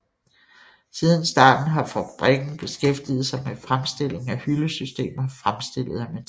Siden starten har fabrikken beskæftiget sig med fremstilling af hyldesystemer fremstillet af metal